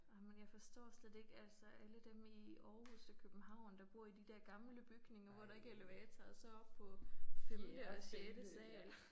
Ej men jeg forstår slet ikke altså alle dem i Aarhus og København der bor i de der gamle bygninger hvor der ikke er elevator. Og så op på femte og sjette sal